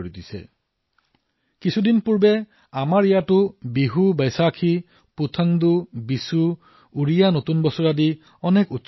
যোৱা কেইদিনমান আগেয়ে আমাৰ ইয়াতো বিহু বৈশাখী পুথণ্ডু বিশু উড়িয়া নৱবৰ্ষ আদি অনেক পৰ্ব উদযাপিত হৈছে